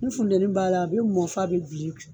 Ni funteni b'a la a bɛ mɔ f'a bɛ bilen